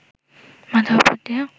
মাথার ওপর দিয়ে